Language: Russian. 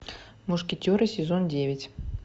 мушкетеры сезон девять